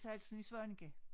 Salsen i Svaneke